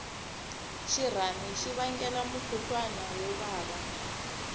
xirhami xi vangela mukhuhlwani wo vava